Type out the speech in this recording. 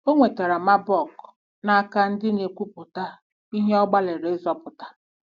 O nwetara Marburg n'aka ndị na-egwuputa ihe ọ gbalịrị ịzọpụta.